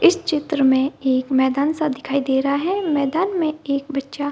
इस चित्र में एक मैदान सा दिखाई दे रहा है मैदान में एक बच्चा --